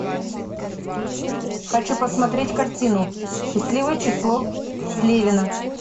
хочу посмотреть картину счастливое число слевина